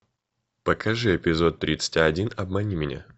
покажи эпизод тридцать один обмани меня